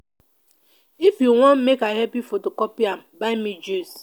if you wan make i help you photocooy am buy me juice